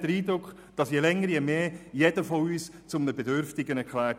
Je länger je mehr wird jeder von uns zu einem Bedürftigen erklärt.